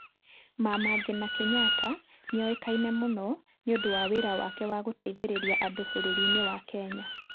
Mama Ngina Kenyatta nĩoĩkaine mũno nĩ ũndũ wa wĩra wake wa gũteithĩrĩria andũ bũrũri-inĩ wa Kenya.